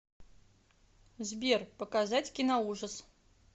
сбер показать киноужас